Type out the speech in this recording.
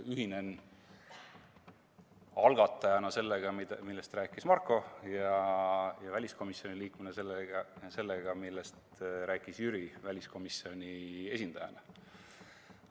Ühinen algatajana sellega, millest rääkis Marko, ja väliskomisjoni liikmena sellega, millest rääkis Jüri väliskomisjoni esindajana.